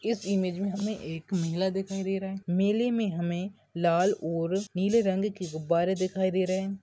इस इमेज मे हमे एक मेला दिखाई दे रहा है मेले मे हमे लाल और नीले रंग की गुब्बारे दिखाई दे रहे है।